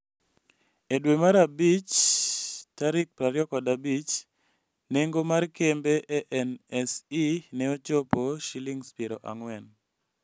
E dwe mar abich 25, nengo mar kembe e NSE ne ochopo Sh40.